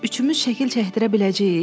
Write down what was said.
Üçümüz şəkil çəkdirə biləcəyik?